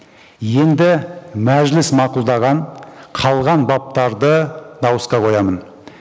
енді мәжіліс мақұлдаған қалған баптарды дауысқа қоямын